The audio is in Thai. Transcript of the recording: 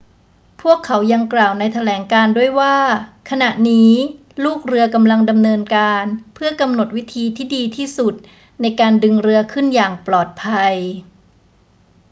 พวกเขายังกล่าวในแถลงการณ์ด้วยว่า ขณะนี้ลูกเรือกำลังดำเนินการเพื่อกำหนดวิธีที่ดีที่สุดในการดึงเรือขึ้นอย่างปลอดภัย